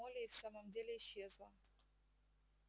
молли и в самом деле исчезла